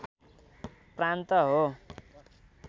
प्रान्त हो